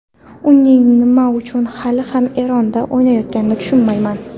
Uning nima uchun hali ham Eronda o‘ynayotganini tushunmayman.